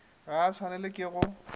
ga a swanelwa ke go